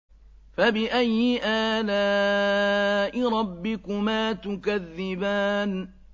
فَبِأَيِّ آلَاءِ رَبِّكُمَا تُكَذِّبَانِ